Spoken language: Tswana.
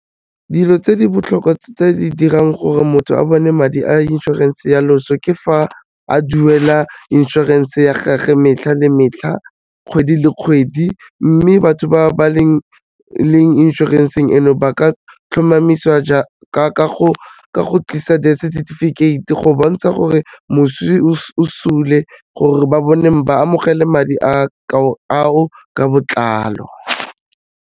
Dilo tse di botlhokwa tse di dirang gore motho a bone madi a insurance-e ya loso, ke fa a duela insurance-e ya gage metlha le metlha, kgwedi le kgwedi mme batho ba ba leng inšorenseng eno ba ka tlhomamisiwa ka go tlisa death certificate go bontsha gore moswi o sule gore ba amogela madi a o ka botlalo.